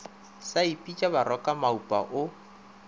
sa ipitša baroka maupa o